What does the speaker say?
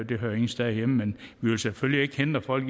det hører ingen steder hjemme men vi vil selvfølgelig ikke hindre folk